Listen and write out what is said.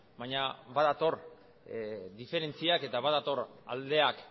baina badator diferentziak eta badator aldeak